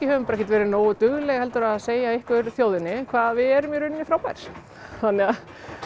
ekki verið nógu dugleg að segja ykkur þjóðinni hvað við erum í rauninni frábær þannig að